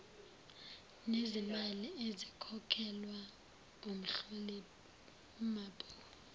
nezimali ezikhokhelwa umhlolimabhuku